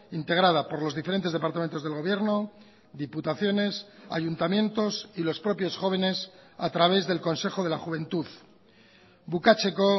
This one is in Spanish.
integrada por los diferentes departamentos del gobierno diputaciones ayuntamientos y los propios jóvenes a través del consejo de la juventud bukatzeko